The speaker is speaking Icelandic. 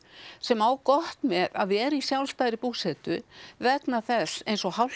sem á gott með að vera í sjálfstæðri búsetu vegna þess eins og